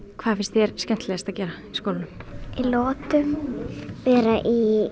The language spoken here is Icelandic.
hvað finnst þér skemmtilegast að gera í skólanum í lotum vera í